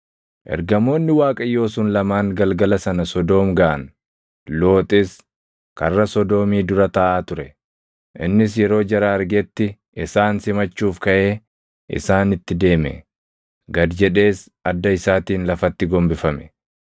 Ergamoonni Waaqayyoo sun lamaan galgala sana Sodoom gaʼan; Looxis karra Sodoomii dura taaʼaa ture. Innis yeroo jara argetti, isaan simachuuf kaʼee isaanitti deeme; gad jedhees adda isaatiin lafatti gombifame.